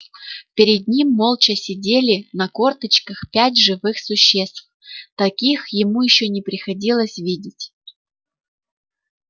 перед ним молча сидели на корточках пять живых существ таких ему ещё не приходилось видеть